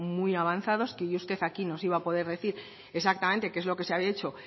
muy avanzados y que hoy usted aquí nos iba a poder decir exactamente qué es lo que se había hecho